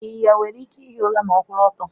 Ịnyịnya nwere ike ihi ura ma ọkwuru ọtọ.